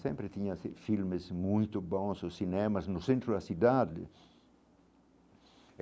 Sempre tinha fi filmes muito bons, os cinemas no centro da cidade.